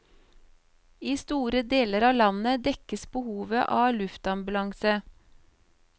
I store deler av landet dekkes behovet av luftambulanse.